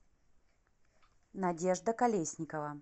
надежда колесникова